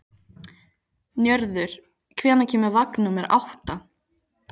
Njörður, hvenær kemur vagn númer átta?